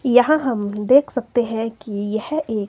यहां हम देख सकते हैं कि यह एक--